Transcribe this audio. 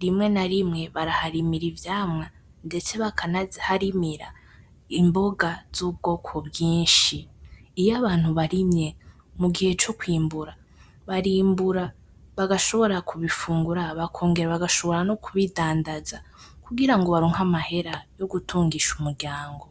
,rimwe na rimwe baraharimira ivyamwa ndetse bakanazi harimira Imboga z'ubwoko bwinshi, iyo abantu barimye mugihe co kwimbura ,barimbura bagashobora kubifungura bagashobora nokubidandaza kugira baronke amahera yogutungisha umuryanga